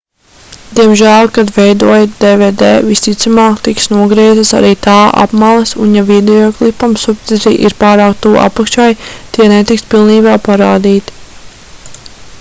diemžēl kad veidojat dvd visticamāk tiks nogrieztas arī tā apmales un ja videoklipam subtitri ir pārāk tuvu apakšai tie netiks pilnībā parādīti